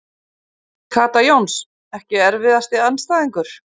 Kata Jóns Ekki erfiðasti andstæðingur?